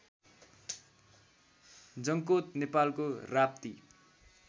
जङ्कोत नेपालको राप्ती